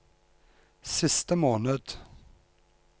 siste måned